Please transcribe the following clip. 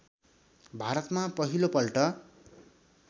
भारतमा पहिलो पल्ट